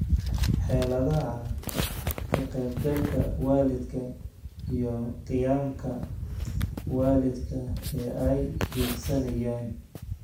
Xeeladaha ka qaybgalka waalidka, iyo qiyamka waalidka ee ay hiigsanayaan.